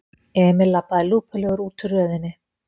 Emil labbaði lúpulegur útúr röðinni.